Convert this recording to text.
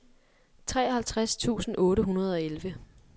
treoghalvtreds tusind otte hundrede og elleve